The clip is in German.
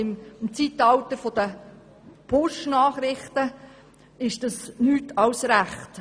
Im Zeitalter der «Push-Nachrichten» ist das angebracht.